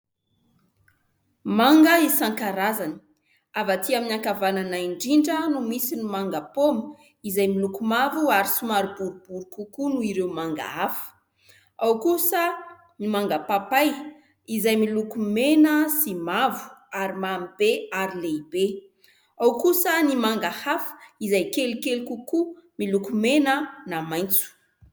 Manga isan-karazany. Avy atỳ amin'ny ankavanana indrindra no misy ny manga paoma izay miloko mavo ary somary boribory kokoa noho ireo manga hafa. Ao kosa ny manga papay izay miloko mena sy mavo ary mamibe ary lehibe. Ao kosa ny manga hafa izay kelikely kokoa miloko mena na maitso.